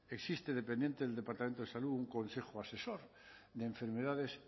existe dependiente del departamento de salud un consejo asesor de enfermedades